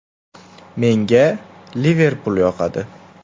Menga “Liverpul” yoqadi.